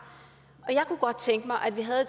jeg kunne godt tænke mig at vi havde